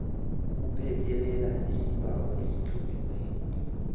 buphekelela isibawo esitloliweko